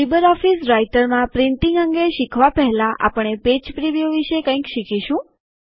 LibreOffice રાઈટરમાં printing અંગે શીખવા પહેલાં આપણે પેજ પ્રીવ્યુ વિશે કંઈક શીખીશું